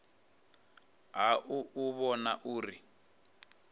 ha u u vhona uri